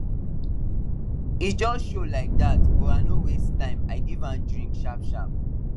e just show like that but i no waste timei give am drink sharpsharp